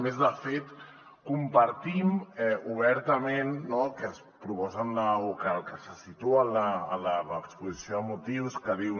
a més de fet compartim obertament no el que es proposa o el que se situa a l’exposició de motius que diu